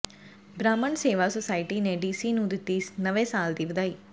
ਬ੍ਰਾਹਮਣ ਸੇਵਾ ਸੁਸਾਇਟੀ ਨੇ ਡੀਸੀ ਨੂੰ ਦਿੱਤੀ ਨਵੇਂ ਸਾਲ ਦੀ ਵਧਾਈ